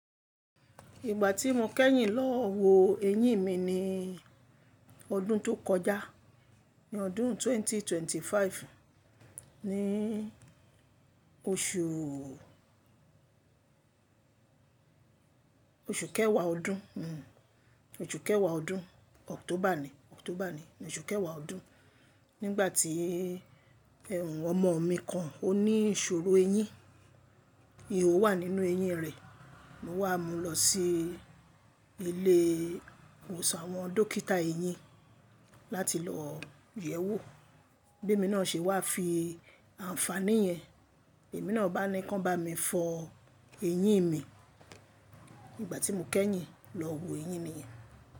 Ìgbà tí mo kẹ́yìn lọ wo eyín mi ní ọdún tó kọjá, ní ọdún ẹgbẹ̀rún méjì ó lé ẹ́ẹ́dọ́gbọ̀n, ní oṣù oṣù kẹwàá ọdún, oṣù kẹwàá ọdún October ni, October ni, oṣù kẹwàá ọdún. Nígbà tí ẹhun ọmọ mi kan ó ní ìṣòro eyín, ihò wà nínú eyín rẹ̀. Mo wà mú lọ sí ilé ìwòsàn àwọn dókítà eyín láti lọ yẹ̀wò. Bémi náà ṣe wá fi àǹfààní yẹn. Èmi náà bá ni kàn bá mi fọ eyín mi ìgbà tí mo kẹ́yìn lọ wo eyín mi yẹn.